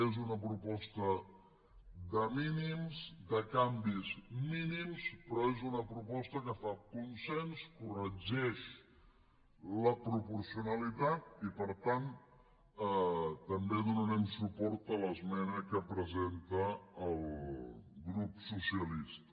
és una proposta de mínims de canvis mínims però és una proposta que fa consens corregeix la proporcionalitat i per tant també donarem suport a l’esmena que presenta el grup socialista